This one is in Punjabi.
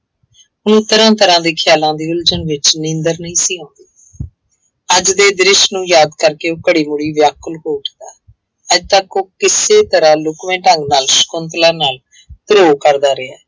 ਉਹਨੂੰ ਤਰ੍ਹਾਂ ਤਰ੍ਹਾਂ ਦੇ ਖ਼ਿਆਲਾ ਦੀ ਉਲਝਣ ਵਿੱਚ ਨੀਂਦਰ ਨਹੀਂ ਸੀ ਆਉਂਦੀ ਅੱਜ ਦੇ ਦ੍ਰਿਸ਼ ਨੂੰ ਯਾਦ ਕਰਕੇ ਬੜੀ ਵਾਰੀ ਵਿਆਕੁਲ ਹੋ ਚੁਕਾ, ਅੱਜ ਤੱਕ ਉਹ ਕਿਸੇ ਤਰ੍ਹਾਂ ਲੁਕਵੇਂ ਢੰਗ ਨਾਲ ਸਕੁੰਤਲਾ ਨਾਲ ਧਰੋਹ ਕਰਦਾ ਰਿਹਾ।